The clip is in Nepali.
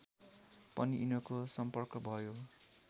पनि यिनको सम्पर्क भयो